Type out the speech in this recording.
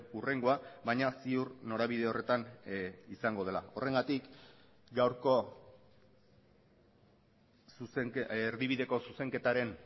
hurrengoa baina ziur norabide horretan izango dela horrengatik gaurko erdibideko zuzenketaren